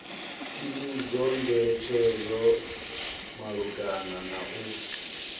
tsivhudzo ngeletshedzo malugana na u